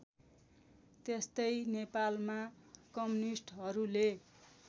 त्यस्तै नेपालमा कम्युनिस्टहरूले